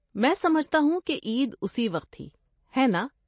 میں سمجھتا ہوں کہ عید اسی وقت تھی؟ ہے نا؟